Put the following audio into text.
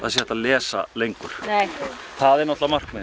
sé hægt að lesa lengur það er markmiðið